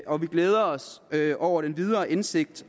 og vi glæder os over den videre indsigt